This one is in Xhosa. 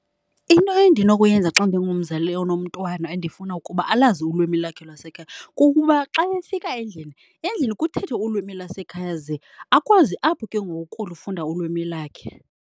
Into endinokuyenza xa ndingumzali onomntwana endifuna ukuba alazi ulwimi lakhe lwasekhaya kukuba xa efika endlini, endlini kuthethwe ulwimi lwasekhaya ze akwazi apho ke ngoku ukulufunda ulwimi lakhe.